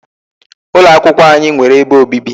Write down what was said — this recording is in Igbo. Ụlọ akwụkwọ anyị nwere ebe obibi.